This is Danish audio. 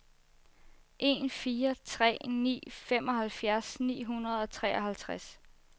en fire tre ni femoghalvfjerds ni hundrede og treoghalvtreds